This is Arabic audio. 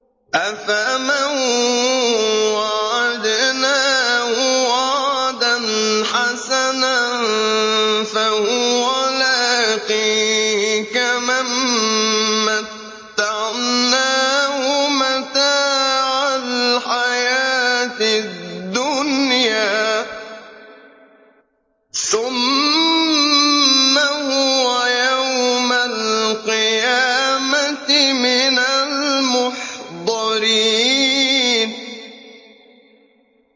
أَفَمَن وَعَدْنَاهُ وَعْدًا حَسَنًا فَهُوَ لَاقِيهِ كَمَن مَّتَّعْنَاهُ مَتَاعَ الْحَيَاةِ الدُّنْيَا ثُمَّ هُوَ يَوْمَ الْقِيَامَةِ مِنَ الْمُحْضَرِينَ